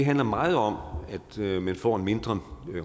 handler meget om at man får en mindre